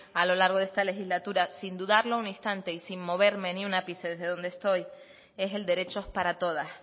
a lo largo de esta legislatura sin dudarlo ningún instante y sin moverme ni un ápice desde donde estoy es el derecho para todas